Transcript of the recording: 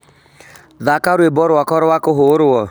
thaka rwimbo rwakwa rwa kũhũrũo